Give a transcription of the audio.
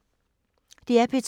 DR P2